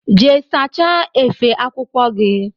Jee sacha efe akwụkwọ gi!!